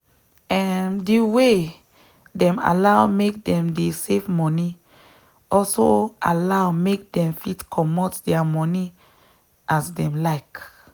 um the way dem allow make them dey save moni also allow make dem fit comot thier moni as them like